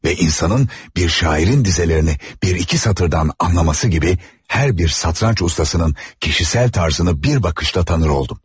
Ve insanın bir şairin dizelərini bir iki satırdan anlaması gibi hər bir satranç ustasının kişisel tarzını bir bakışta tanır oldum.